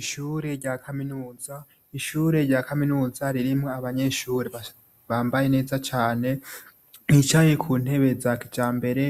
Ishure rya kaminuza, ishure rya kaminuza ririmwo abanyeshure bambaye neza cane bicaye kuntebe za kijambere,